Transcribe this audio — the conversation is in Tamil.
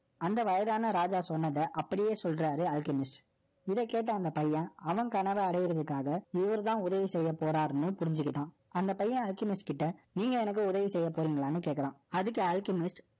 அந்த வயதான ராஜா சொன்னத, அப்படியே சொல்றாரு. இதைக்கேட்ட அந்த பையன், அவன் கனவை அடையறதுக்காக, இவருதான் உதவி செய்யப் போறாருன்னும், புரிஞ்சுக்கிட்டான். அந்தப் பையன், Alchemist ட, நீங்க எனக்கு உதவி செய்யப் போறீங்களான்னு கேக்கறான். அதுக்கு Alchemist